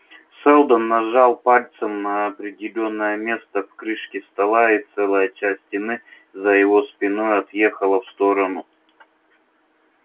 сэлдон нажал пальцем на определённое место в крышке стола и целая часть стены за его спиной отъехала в сторону